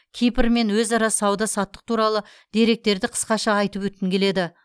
кипрмен өзара сауда саттық туралы деректерді қысқаша айтып өткім келеді